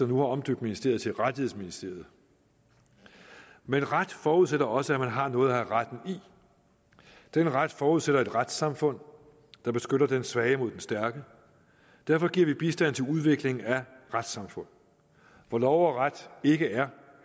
nu har omdøbt ministeriet til rettighedsministeriet men ret forudsætter også at man har noget at have retten i den ret forudsætter et retssamfund der beskytter den svage mod den stærke og derfor giver vi bistand til udvikling af retssamfund hvor lov og ret ikke er